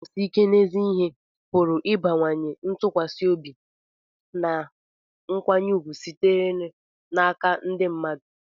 iguzosi ike n'ezi ihe pụrụ ịbawanye ntụkwasị obi na nkwanye ùgwù sitere n'aka ndị mmadụ